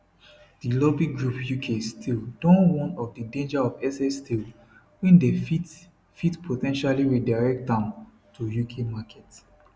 di lobby group uk steel don warn of di danger of excess steel wey dem fit fit po ten tially redirect am to uk market